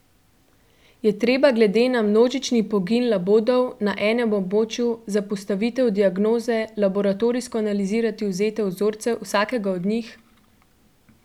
Je treba glede na množični pogin labodov na enem območju za postavitev diagnoze laboratorijsko analizirati odvzete vzorce vsakega od njih?